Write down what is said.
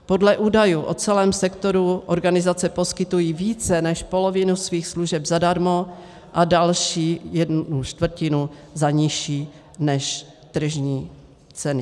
Podle údajů o celém sektoru organizace poskytují více než polovinu svých služeb zadarmo a další jednu čtvrtinu za nižší než tržní ceny.